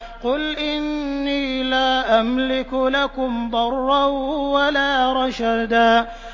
قُلْ إِنِّي لَا أَمْلِكُ لَكُمْ ضَرًّا وَلَا رَشَدًا